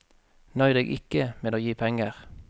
Nøy deg ikke med å gi penger.